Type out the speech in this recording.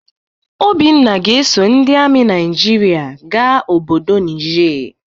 Obinna ga-eso ndị ami Naijiria ga obodo Nije.